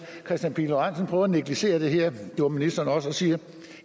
kristian pihl lorentzen prøver at negligere det her det gjorde ministeren også og siger